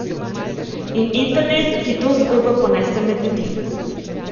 In internet, ki to zgodbo ponese med ljudi.